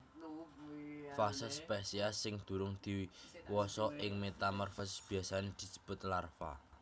Fase spesies sing durung diwasa ing metamorfosis biasané disebut larva